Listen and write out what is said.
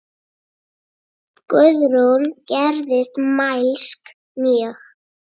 Guðrún gerðist mælsk mjög.